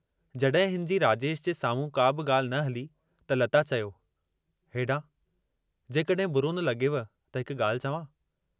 जॾहिं हिनजी राजेश जे साम्हूं का बि ॻाल्हि न हली, त लता चयो, हेॾांहुं जेकहिं बुरो न लगे॒व त हिक ॻाल्हि चवां।